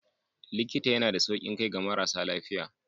Likita yana da saukin kai ga marasa lafiya.